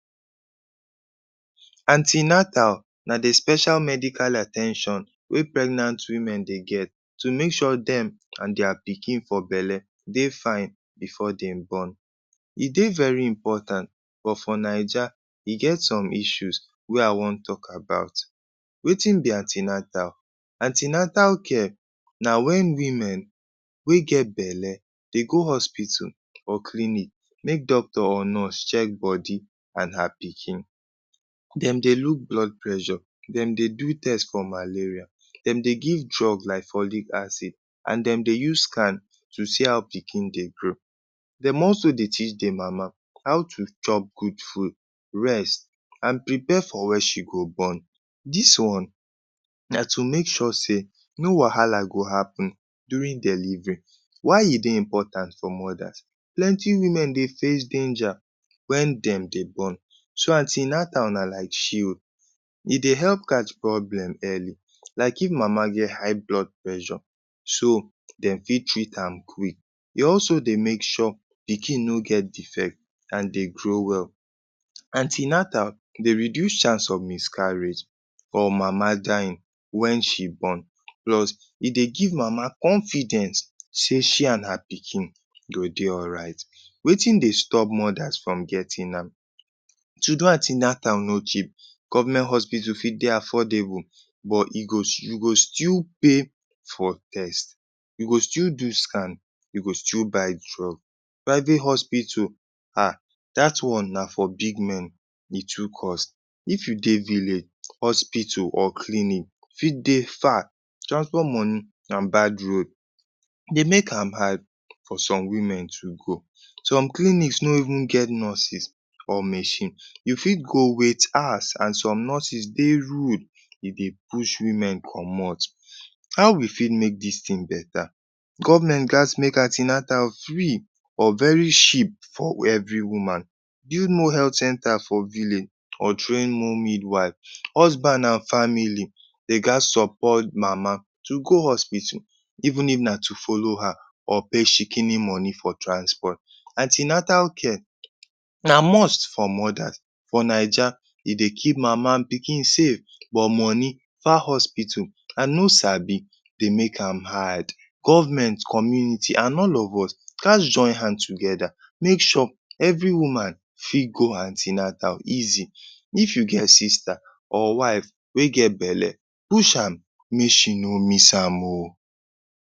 An ten atal na de special medical at ten tion wey pregnant women dey get to make sure dem an dia pikin for belle dey fine before dem born. E dey very important, but for Naija, e get some issues wey I wan talk about. Wetin be an ten atal? An ten atal care na wen women wey get belle dey go hospital or clinic make doctor or nurse check body an her pikin. Dem dey look blood pressure, dem dey do test for malaria, dem dey give drug like folic acid an dem dey use scan to see how pikin dey grow. Dem also dey teach de mama how to chop good food, rest, an prepare for wen she go born. Dis one na to make sure sey no wahala go happen during delivery. Why e dey important for mothers? Plenty women dey face danger wen dem dey born. So, an ten atal na like shield. E dey help catch problem early, like if mama get high blood pressure, so dem fit treat am quick. E also dey make sure pikin no get defect an dey grow well. An ten atal dey reduce chance of miscarriage or mama dying wen she born. Plus e dey give mama confidence sey she an her pikin go dey alright. Wetin dey stop mothers from getting am? To do an ten atal no cheap. Government hospital fit dey affordable but e go you go still pay for test, you go still do scan, you go still buy drug. Private hospital? um Dat one na for big men. E too cost. If you dey village, hospital or clinic fit dey far. Transport money an bad road dey make am hard for some women to go. Some clinics no even get nurses or machine. You fit go wait hours, an some nurses dey rude e dey push women comot. How we fit make dis tin beta? Government gaz make an ten atal free or very cheap for every woman, build more health centre for village or train more midwife. Husband an family de gaz support mama to go hospital even if na to follow her or pay shikini money for transport, An ten atal care na must for mothers. For Naija, e dey keep mama an pikin safe, but money, far hospital, an no sabi dey make am hard. Government, community, an all of us gaz join hand together make sure every woman fit go an ten atal easy. If you get sister or wife wey get belle, push am make she no miss am oh.